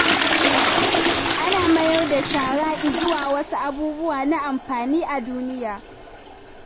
Ana mayar da shara izuwa wasu abubuwa na amfani a duniya